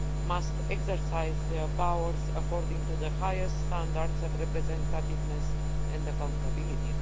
must exercise their powers according to the highest standards of representativeness and accountability.